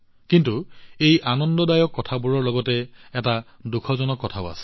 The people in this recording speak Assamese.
কিন্তু এই আনন্দদায়ক বস্তুবোৰৰ সৈতে এটা দুখজনক দিশো আছে